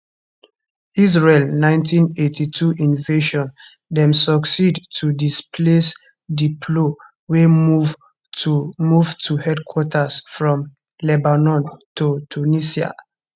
israel 1982 invasion dem succeed to displace di plo wey move to move to headquarters from lebanon to tunisia